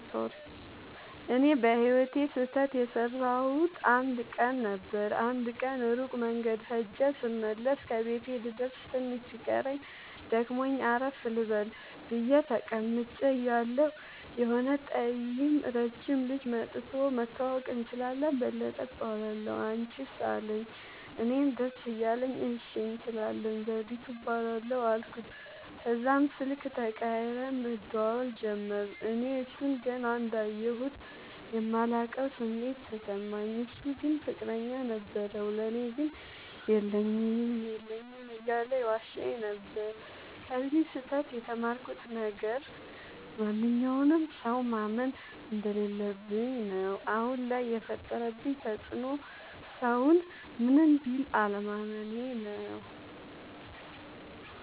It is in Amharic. እኔ በህይወቴ ስህተት የሠረውበት አንድ ቀን ነበር። አንድ ቀን ሩቅ መንገድ ኸጀ ስመለስ ከቤቴ ልደርስ ትንሽ ሲቀረኝ ደክሞኝ አረፍ ልበል ብየ ተቀምጨ እያለሁ የሆነ ጠይም ረጅም ልጅ መኧቶ<< መተዋወቅ እንችላለን በለጠ እባላለሁ አንችስ አለኝ>> አለኝ። እኔም ደስ እያለኝ እሺ እንችላለን ዘዉዲቱ እባላለሁ አልኩት። ተዛም ስልክ ተቀያይረን መደዋወል ጀመርን። እኔ እሡን ገና እንዳየሁት የማላቀዉ ስሜት ተሰማኝ። እሡ ግን ፍቅረኛ ነበረዉ። ለኔ ግን የለኝም የለኝም እያለ ይዋሸኝ ነበር። ከዚ ስህተ ት የተማርኩት ነገር ማንኛዉንም ሠዉ ማመን እንደለለብኝ ነዉ። አሁን ላይ የፈጠረብኝ ተፅዕኖ ሠዉን ምንም ቢል አለማመኔ ነዉ።